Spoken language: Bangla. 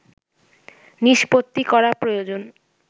নিষ্পত্তি করা প্রয়োজন